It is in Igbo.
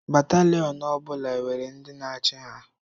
Batalion ọ bụla nwere ndi na-achị ha.